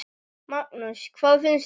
Magnús: Hvað finnst þér?